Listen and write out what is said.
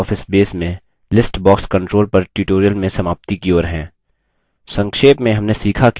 अब हम libreoffice base में list box control पर tutorial में समाप्ति की ओर हैं